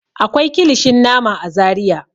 Akwai kilishin nama a Zariya.